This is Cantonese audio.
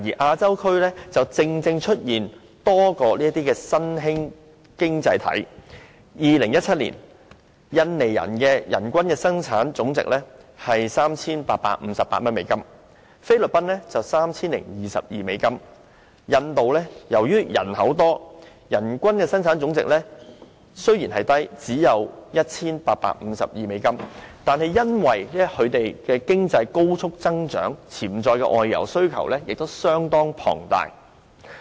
亞洲區內正正出現了多個新興經濟體，在2017年，印尼的人均本地生產總值為 3,858 美元；菲律賓則為 3,022 美元；印度由於人口眾多，人均本地生產總值雖然較低，只有 1,852 美元，但由於其經濟高速增長，潛在的外遊需求亦相當龐大。